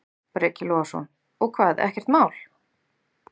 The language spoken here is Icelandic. Breki Logason: Og hvað, ekkert mál?